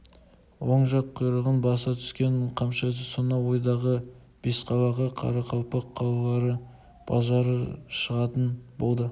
оң жақ құйрығын баса түскен қамшы ізі сонау ойдағы бесқалаға қарақалпақ қалалары базар шығатын болды